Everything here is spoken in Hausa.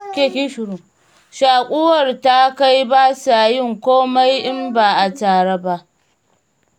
Shaƙuwar ta kai ba sa yin komai in ba a tare ba.